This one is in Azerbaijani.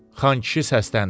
Xankişi səsləndi: